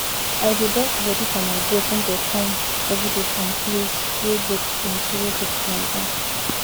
i dey dust bodi for my goat when dey come everyday from place wey goat plenty wey goat plenty